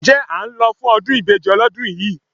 Ǹjẹ́ à ń lọ fún ọdún ìbejì ọlọ́dún yìí?